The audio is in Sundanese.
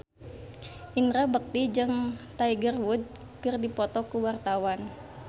Indra Bekti jeung Tiger Wood keur dipoto ku wartawan